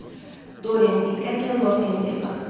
Deyə Doren diqqətlə Lord Henriyə baxdı.